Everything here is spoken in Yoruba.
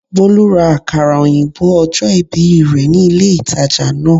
Bólú ra àkàrà òyìnbó ojó ìbì rè ní ilé ìtajà náà